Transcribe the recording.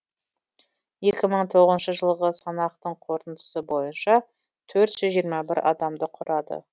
екі мың тоғызыншы жылғы санақтың қорытындысы бойынша төрт жүз жиырма бір адамды құрады